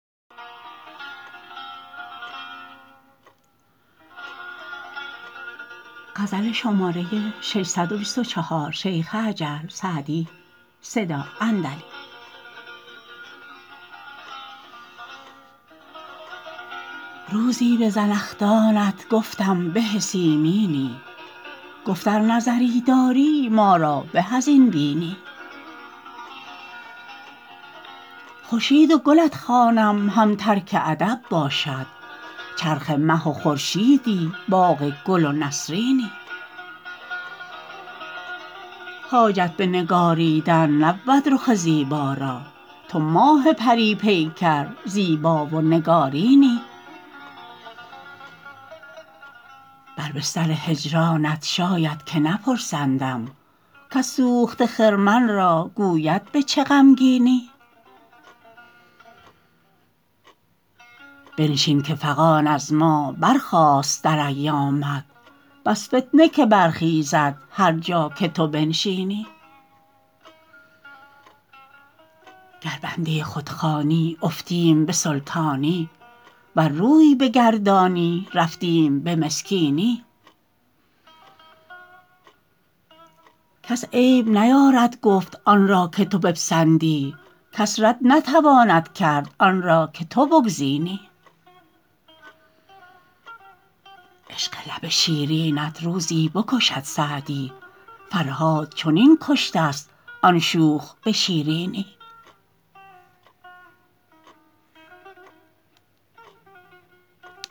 روزی به زنخدانت گفتم به سیمینی گفت ار نظری داری ما را به از این بینی خورشید و گلت خوانم هم ترک ادب باشد چرخ مه و خورشیدی باغ گل و نسرینی حاجت به نگاریدن نبود رخ زیبا را تو ماه پری پیکر زیبا و نگارینی بر بستر هجرانت شاید که نپرسندم کس سوخته خرمن را گوید به چه غمگینی بنشین که فغان از ما برخاست در ایامت بس فتنه که برخیزد هر جا که تو بنشینی گر بنده خود خوانی افتیم به سلطانی ور روی بگردانی رفتیم به مسکینی کس عیب نیارد گفت آن را که تو بپسندی کس رد نتواند کرد آن را که تو بگزینی عشق لب شیرینت روزی بکشد سعدی فرهاد چنین کشته ست آن شوخ به شیرینی